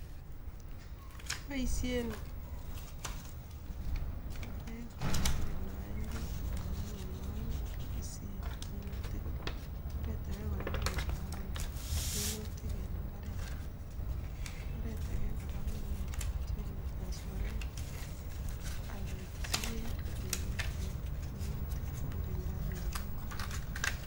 Kiboisien orek kegirondoen kutik anan ko mianwogik kipisen minutik, oret age kora ko kewalawal minutik en mbaret, oret age kora ko kitiony nyasoret ak ketesyi beek ak kepiten minutik kogirindoi mianwogik ak kutik